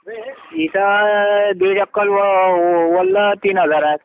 इथं दीड एकर वल्ल्ल तीन हजारात.